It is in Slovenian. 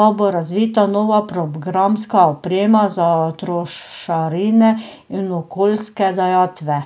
pa bo razvita nova programska oprema za trošarine in okoljske dajatve.